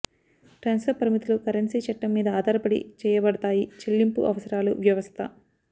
transfer పరిమితులు currency చట్టం మీద ఆధారపడి చెయ్యబడతాయి చెల్లింపు అవసరాలు వ్యవస్థ